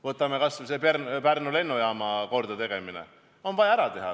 Võtame kas või Pärnu lennujaama kordategemise – on vaja ära teha.